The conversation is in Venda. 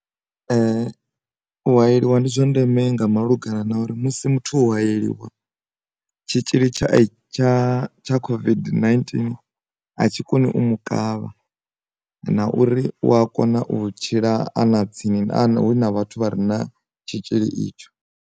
U hayeliwa ndi zwa ndeme nga malugana na uri musi muthu u hayeliwa, tshitzhili tsha tsha tsha COVID-19 a tshi koni u mu kavha na uri u a kona u tshila ana tsini na hu na vhathu vha re na tshitzhili itsho.